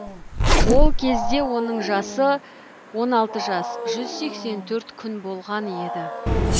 ол кезде оның жасы он алты жас жүз сексен төрт күн болған еді